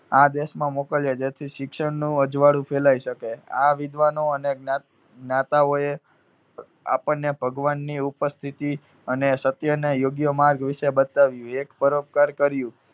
આ દેશમાં મોકલ્યા. જેથી શિક્ષણનું અજવાળું ફેલાઈ શકે. આ વિદ્વાનો અને જ્ઞા~જ્ઞાતાઓએ અર આપણને ભગવાનની ઉપસ્થિતિ અને સત્ય ને યોગ્ય માર્ગ વિશે બતાવ્યું. એક પરોપકાર કર્યું.